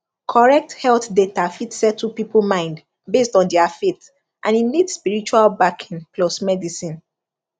correct health data fit settle people mind based on their faith and e need spiritual backing plus medicine